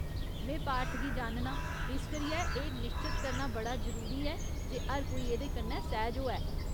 में पार्थ गी जाननां, इस करियै एह् निश्चत करना बड़ा जरूरी ऐ जे हर कोई एह्दे कन्नै सैह्ज होऐ।